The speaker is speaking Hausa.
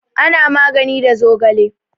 Ana magani da zogale.